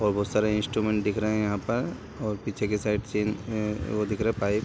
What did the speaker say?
और बहुत सारे इंस्ट्रूमेंट दिख रहे हैं यहाँ पर और पीछे की साइड ओ दिख रहे है पाइप ।